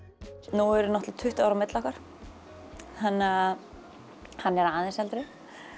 nú eru náttúrulega tuttugu ár á milli okkar þannig að hann er aðeins eldri